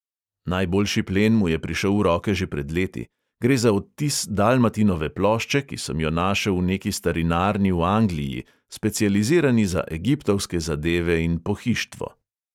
Najboljši plen mu je prišel v roke že pred leti: gre za odtis dalmatinove plošče, ki sem jo našel v neki starinarni v angliji, specializirani za egiptovske zadeve in pohištvo.